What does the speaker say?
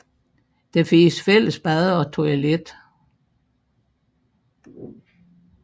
Der findes fælles bad og toilet